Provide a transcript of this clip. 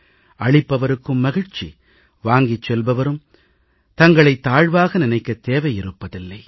அளிப்பவருக்கும் மகிழ்ச்சி வாங்கிச் செல்பவரும் தங்களைத் தாழ்வாக நினைக்கத் தேவை இருப்பதில்லை